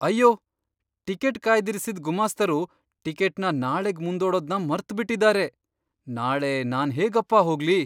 ಅಯ್ಯೋ! ಟಿಕೆಟ್ ಕಾಯ್ದಿರಿಸಿದ್ ಗುಮಾಸ್ತರು ಟಿಕೆಟ್ನ ನಾಳೆಗ್ ಮುಂದೂಡೋದ್ನ ಮರ್ತ್ಬಿಟಿದಾರೆ. ನಾಳೆ ನಾನ್ಹೇಗಪ್ಪ ಹೋಗ್ಲಿ?